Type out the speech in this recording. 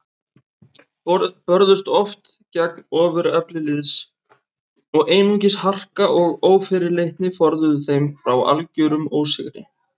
Börðust oft gegn ofurefli liðs og einungis harka og ófyrirleitni forðuðu þeim frá algerum ósigri.